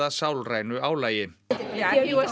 sálrænu álagi það